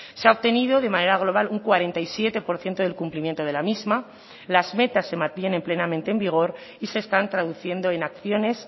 se ha obtenido de manera global un cuarenta y siete por ciento del cumplimiento de la misma las metas se mantienen plenamente en vigor y se están traduciendo en acciones